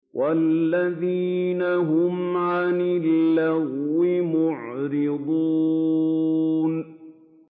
وَالَّذِينَ هُمْ عَنِ اللَّغْوِ مُعْرِضُونَ